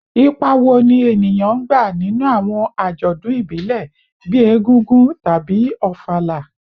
Ipa wo ni eniyan n gba ninu awọn ajọdun ibile bii Egúngún tabi Ofala?